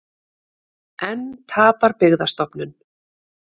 Enn tapar Byggðastofnun